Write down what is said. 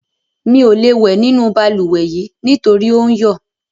Mi ò lè wẹ̀ nínú balùwẹ̀ nítorí ò ń yọ̀.